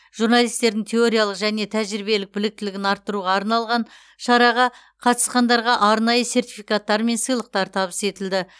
журналистердің теориялық және тәжірибелік біліктілігін арттыруға арналған шараға қатысқандарға арнайы сертификаттар мен сыйлықтар табыс етілді